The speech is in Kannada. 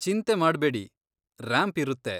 ಚಿಂತೆ ಮಾಡ್ಬೇಡಿ, ರಾಂಪ್ ಇರುತ್ತೆ.